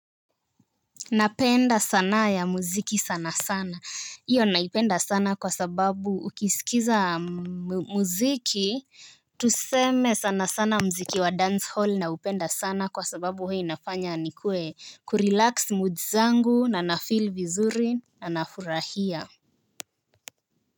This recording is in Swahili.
Napenda sanaa ya muziki sana sana. Iyo naipenda sana kwa sababu ukisikiza muziki. Tuseme sana sana muziki wa dance hall naupenda sana kwa sababu huwa inafanya nikuwe kurelax moods zangu na nafil vizuri na nafurahia.